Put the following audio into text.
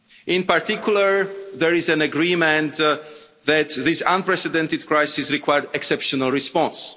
In particular, there is an agreement that this unprecedented crisis required an exceptional response.